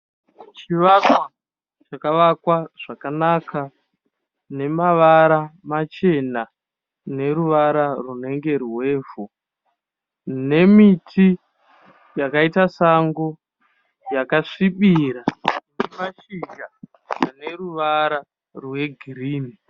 Zvivakwa zvakavakwa zvakanaka zvine mavara machena neruvara rwunenge rwevhu. Nemiti yakaita sango yakasvibira ine mashizha aneruvara rwegirinhi.